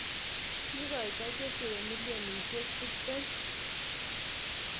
Kiikoito chesire milioniyek tibtem